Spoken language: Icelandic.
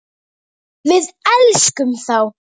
Við elskum þá.